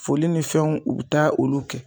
Foli ni fɛnw u bi taa olu kɛ.